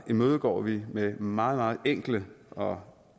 imødegår vi med meget enkle og